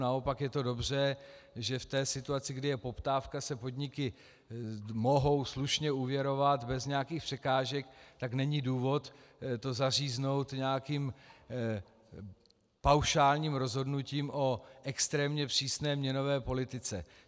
Naopak je to dobře, že v té situaci, kdy je poptávka, se podniky mohou slušně úvěrovat bez nějakých překážek, tak není důvod to zaříznout nějakým paušálním rozhodnutím o extrémně přísné měnové politice.